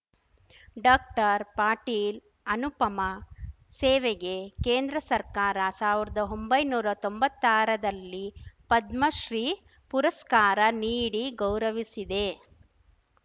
ಡಾಕ್ಟರ್ಪಾಟೀಲ್‌ ಅನುಪಮ ಸೇವೆಗೆ ಕೇಂದ್ರ ಸರ್ಕಾರ ಸಾವಿರ್ದಾ ಒಂಬೈನೂರಾ ತೊಂಬತ್ತಾರದಲ್ಲಿ ಪದ್ಮಶ್ರೀ ಪುರಸ್ಕಾರ ನೀಡಿ ಗೌರವಿಸಿದೆ